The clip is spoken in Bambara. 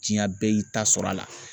Diɲɛ bɛɛ y'i ta sɔrɔ a la.